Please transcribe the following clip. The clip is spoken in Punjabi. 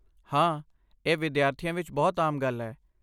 ਹਾਂ, ਇਹ ਵਿਦਿਆਰਥੀਆਂ ਵਿੱਚ ਬਹੁਤ ਆਮ ਗੱਲ ਹੈ।